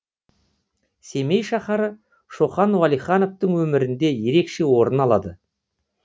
семей шаһары шоқан уәлихановтың өмірінде ерекше орын алады